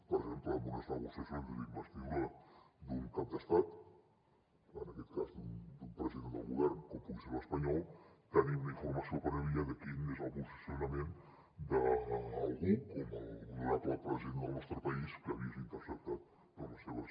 per exemple en unes negociacions d’investidura d’un cap d’estat en aquest cas d’un president del govern com pugui ser l’espanyol tenir una informació prèvia de quin és el posicionament d’algú com l’honorable president del nostre país que ha vist interceptades les seves